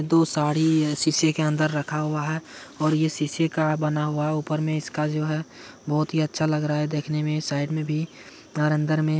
दो साड़ी है शीशे के अन्दर रखा हुआ है और ये शीशे का बना हुआ है ऊपर में इसका जो है बहोत ही अच्छा लग रहा है देखने में साइड में भी और अंदर में----